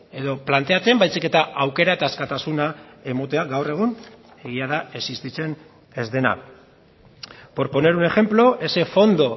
edo planteatzen baizik eta aukera eta askatasuna ematea gaur egun egia da existitzen ez dena por poner un ejemplo ese fondo